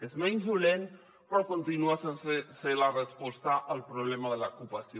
és menys dolent però continua sense ser la resposta al problema de l’ocupació